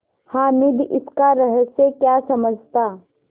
हामिद इसका रहस्य क्या समझता